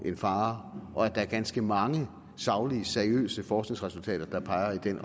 en fare og at der er ganske mange saglige seriøse forskningsresultater der peger i den